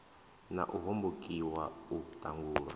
na u hombokiwa u ṱangulwa